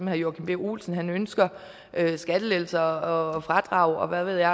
herre joachim b olsen ønsker skattelettelser og fradrag og hvad ved jeg